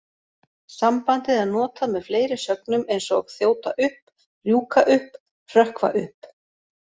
Sambandið er notað með fleiri sögnum eins og þjóta upp, rjúka upp, hrökkva upp.